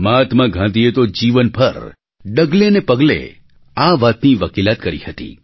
મહાત્મા ગાંધીએ તો જીવન ભર ડગલે ને પગલે આ વાતની વકીલાત કરી હતી